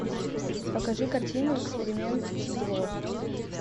покажи картину эксперимент зло